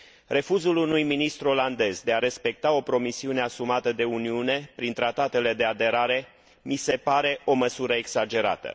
Refuzul unui ministru olandez de a respecta o promisiune asumată de Uniune prin tratele de aderare mi se pare o măsură exagerată.